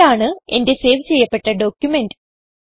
ഇതാണ് എന്റെ സേവ് ചെയ്യപ്പെട്ട ഡോക്യുമെന്റ്